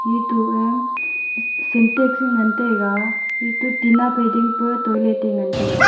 eto e syntex ngan taiga eto tina phai ding pe toilet e ngan taiga.